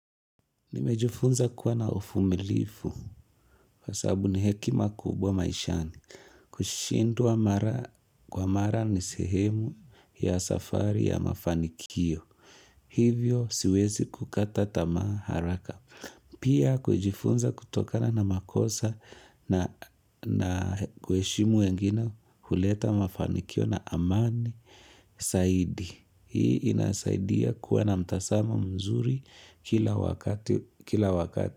Nimejifunza kuwa na uvumilivu kwa sababu ni hekima kubwa maishani, kushindwa mara kwa mara ni sehemu ya safari ya mafanikio. Hivyo siwezi kukata tama haraka. Pia kujifunza kutokana na makosa na kuheshimu wengine, huleta mafanikio na amani, zaidi. Hii inasaidia kuwa na mtazamo mzuri kila wakati.